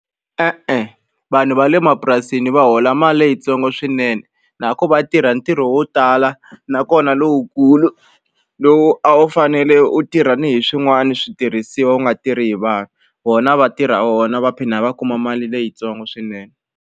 E-e vanhu va le mapurasini va hola mali leyitsongo swinene na ku va tirha ntirho wo tala nakona lowukulu lowu a wu fanele u tirha ni hi swin'wani switirhisiwa u nga tirhi hi vanhu vona va tirha wona va phinda va kuma mali leyitsongo swinene.